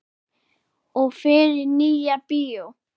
Og fer í Nýja bíó!